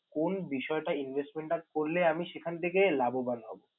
কোন বিষয়টা investment টা করলে আমি সেখান থেকে লাভবান হবো?